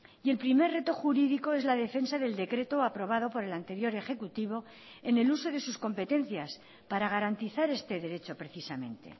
y el primer reto jurídico es la defensa del decreto aprobado por el anterior ejecutivo en el uso de sus competencias para garantizar este derecho precisamente